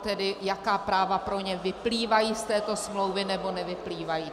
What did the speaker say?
tedy jaká práva pro ně vyplývají z této smlouvy nebo nevyplývají.